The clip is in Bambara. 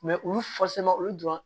olu olu dɔrɔn